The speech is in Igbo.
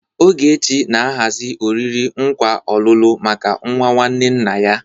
Ogechi na-ahazi oriri nkwa ọlụlụ maka nwa nwanne nna ya.